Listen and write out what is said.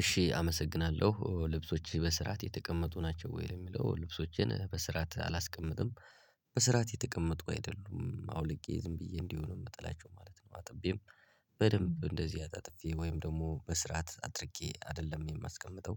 እሺ አመሰግናለሁ ልብሶች በስርዓት የተቀመጡ ናቸው። ወይ እሚለው ልብሶችን በስርዓት አላስቀምጥም። በስራት የተቀመጡ አይደሉም አውልቄ ዝም ብዬ እንዲሆን ነው እምጥላቸው ማለት ነው። አጥቤም በደንብ እንደዚህ አጣጥፌ ወይም ደግሞ በስርዓት አድርጌ አይደለም እማስቀምጠው።